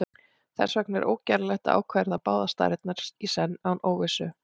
þess vegna er ógerlegt að ákvarða báðar stærðirnar í senn án óvissu